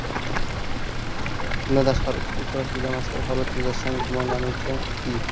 Bundan tashqari, ushbu uchrashuvda mazkur holat yuzasidan gumonlanuvchi I.